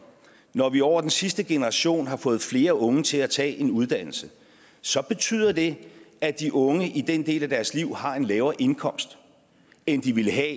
at når vi over den sidste generation har fået flere unge til at tage en uddannelse så betyder det at de unge i den del af deres liv har en lavere indkomst end de ville have